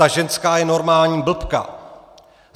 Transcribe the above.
Ta ženská je normální blbka!